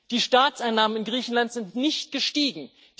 Die Staatseinnahmen in Griechenland sind nicht gestiegen.